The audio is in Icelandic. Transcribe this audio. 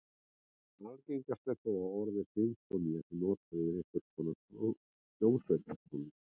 Algengast er þó að orðið sinfónía sé notað yfir einhvers konar hljómsveitartónlist.